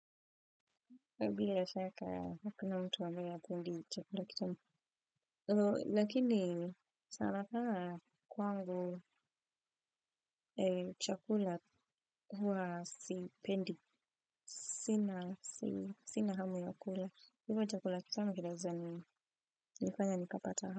Bila shaka hakuna mtu ambaye hakuli chakula kitamu. Lakini sana sana kwangu chakula huwa sipendi. Sina hamu ya kula. Hivyo chakula kitama kinaeza nifanya nikapata hamu.